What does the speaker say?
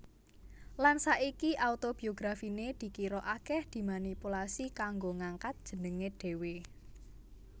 Lan saiki autobiografiné dikira akèh dimanipulasi kanggo ngangkat jenengé dhéwé